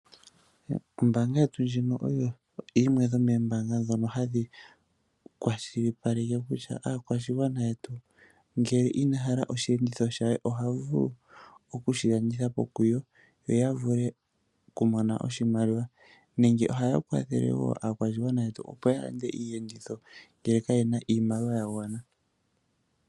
Ombaanga yetu oyo yimwe yo moombaanga dhetu, ha dhi kwashilipaleke kutya aakwashigwana yetu, ngele Ina hala osheenditho she, ohavulu oku sji landithapi kuyo, yo ya vule oku mona oshimaliwa. Oha yi kwathele aakwashigwana opo ya mone oshimaliwa sha gwana.